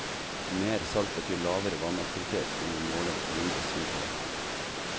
Mer salt betyr lavere vannaktivitet under måling, og mindre svinn på vekten.